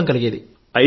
నమ్మకం కలిగేది